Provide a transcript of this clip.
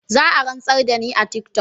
Zaa rantsar dani a tiktok.